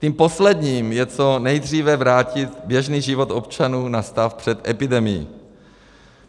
Tím posledním je co nejdříve vrátit běžný život občanů na stav před epidemií.